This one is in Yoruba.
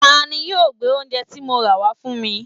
Tani yóò gbé oúnje ti mo rà wá fún mi?